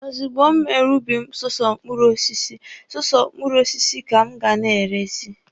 Ozugbo m mere ubi m sọsọ ubi mkpụrụ osisi, sọsọ mkpụrụ osisi ka m ga na-erezi.